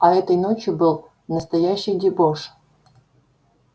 а этой ночью был настоящий дебош